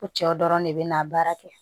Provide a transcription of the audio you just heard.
Ko cɛw dɔrɔn de be na baara kɛ